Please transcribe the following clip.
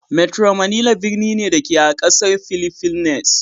Metro Manila birni ne, da ke a ƙasar fhiliffines.